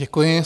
Děkuji.